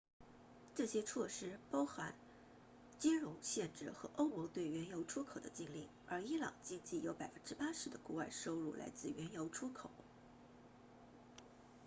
这些措施包括金融限制和欧盟对原油出口的禁令而伊朗经济有 80% 的国外收入来自原油出口